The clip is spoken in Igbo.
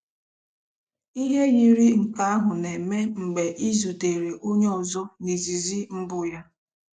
Ihe yiri nke ahụ na-eme mgbe ị zutere onye ọzọ na izizi mbụ ya.